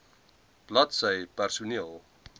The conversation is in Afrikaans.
bladsy mh personeel